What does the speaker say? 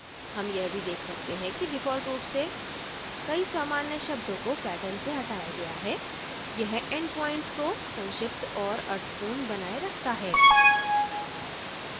हम यह भी देख सकते हैं कि default रूप से कई सामान्य शब्दों को pattern से हटाया गया है यह endpoints को संक्षिप्त और अर्थपूर्ण बनाए रखता है